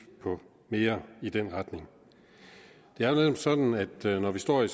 på mere i den retning det er netop sådan at det når vi står i